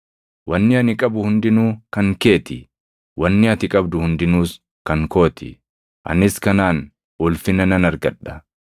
Wanni ani qabu hundinuu kan kee ti; wanni ati qabdu hundinuus kan koo ti. Anis kanaan ulfina nan argadha.